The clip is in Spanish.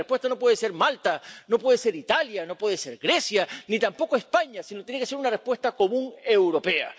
Porque la respuesta no puede ser Malta, no puede ser Italia, no puede ser Grecia, ni tampoco España, sino que tiene que ser una respuesta común europea.